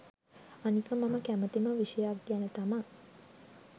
අනික මම කැමතිම විෂයක් ගැන තමා